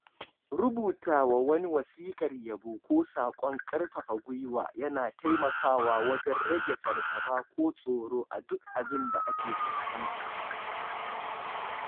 Rubutawa wani wasiƙar yabo ko sakon ƙarfafa gwuiwa yana taimakawa wajen rage fargaba ko tsoro a duk abinda aka fuskanta.